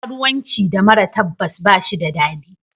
Karuwanci da mara tabbas ba shi da dadi.